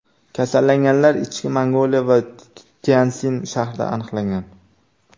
Kasallanganlar Ichki Mongoliya va Tyanszin shahrida aniqlangan.